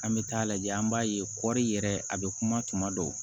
An bɛ taa lajɛ an b'a ye kɔri yɛrɛ a bɛ kuma tuma dɔw